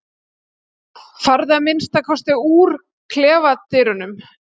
Farðu að minnsta kosti úr klefadyrunum.